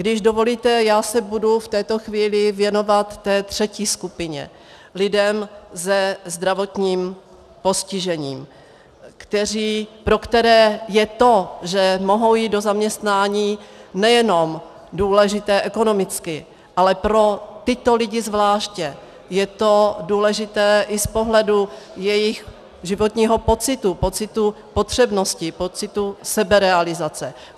Když dovolíte, já se budu v této chvíli věnovat té třetí skupině, lidem se zdravotním postižením, pro které je to, že mohou jít do zaměstnání, nejenom důležité ekonomicky, ale pro tyto lidi zvláště je to důležité i z pohledu jejich životního pocitu, pocitu potřebnosti, pocitu seberealizace.